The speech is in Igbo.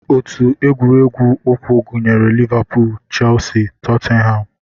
Otu egwuregwu ụkwụ gụnyere Liverpool, Chelsea, Tottenham